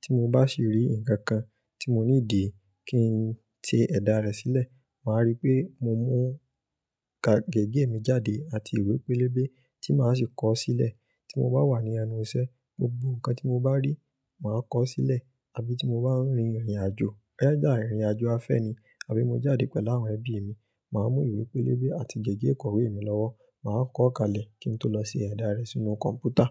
tí mo bá sì rí ǹkan kan tí mo need ki ń ti ẹ̀dà rẹ̀ sílẹ̀, màá rí pé mo mú gègé mi jáde àti ìwé pélébé tí màá sì kọ ọ́ sílẹ̀. Tí mo bá wà ní ẹnu iṣẹ́, gbogbo ǹkan tí mo bá rí, màá kọ ọ́ sílẹ̀. Àbí tí mo bá ń rin ìrìnàjò, either ìrìnàjò afẹ́ni, àbí mo jáde pẹ̀lú àwọn ẹbí mi, màá mú ìwé pélébé àti gègé ìkọ̀wé mi lọ́wọ́, màá kọ ọ́ kalẹ̀ kí ń tó lọ sí ẹ̀dà rẹ̀ sínú kọ̀ǹpútà.